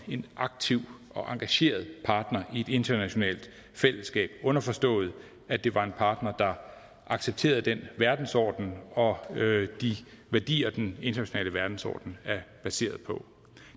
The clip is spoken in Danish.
en aktiv og engageret partner i et internationalt fællesskab underforstået at det var en partner der accepterede den verdensorden og de værdier den internationale verdensorden er baseret på